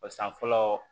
Ba san fɔlɔ